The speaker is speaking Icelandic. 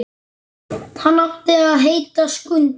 Hann átti að heita Skundi.